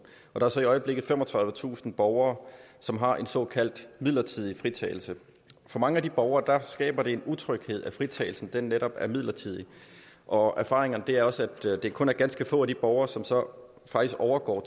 der er så i øjeblikket femogtredivetusind borgere som har en såkaldt midlertidig fritagelse for mange af de borgere skaber det en utryghed at fritagelsen netop er midlertidig og erfaringen er også at det kun er ganske få af de borgere som som faktisk overgår